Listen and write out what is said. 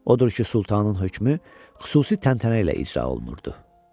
Odur ki, sultanın hökmü xüsusi təntənə ilə icra olunurdu.